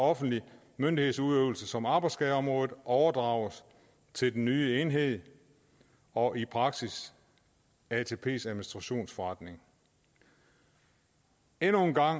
offentlig myndighedsudøvelse som arbejdsskadeområdet overdrages til den nye enhed og i praksis atps administrationsforretning endnu en gang